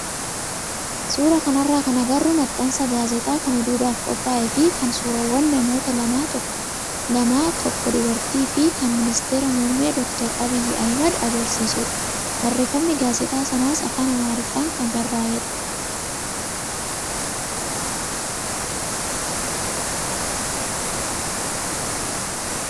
Suuraa kanarraa kan agarru maxxansa gaazexaa kan oduudhaaf qophaayee fi kan suuraawwan namoota lamaa tokko dubartii fi kan ministeera muummee doktar Abiy Ahmad agarsiisudha. Barreeffamni gaazexaa sanaas afaan amaariffaan kan barraayedha.